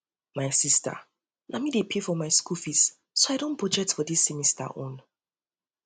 my sister na me dey pay for my school fees oo so i don budget for dis semester own